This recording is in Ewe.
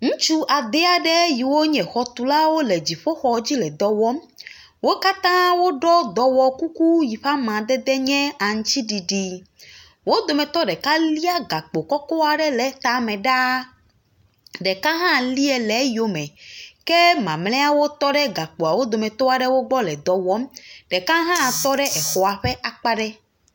Ŋutsu ade aɖe yiwo nye xɔtulawo le dziƒoxɔ dzi le dɔ wɔm. wo katã woɖɔ dɔwɔkuku yi ƒe amadede nye aŋtsiɖiɖi. Wo dometɔ ɖeka lia gakpo kɔkɔ aɖe le etame ɖaa. Ɖeka hã lie le eyome. Ke mamlɛawo tɔ ɖe gakpoawo dometɔ aɖewo gbɔ le dɔ wɔm. Ɖeka hã tɔ ɖe exɔa ƒe akpa ɖe.